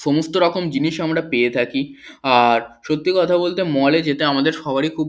সমস্ত রকম জিনিস আমরা পেয়ে থাকি আর সত্যি কথা বলতে মলে যেটা আমাদের সবারই খুব।